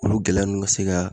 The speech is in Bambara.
Olu gɛlɛya ninnu ka se ka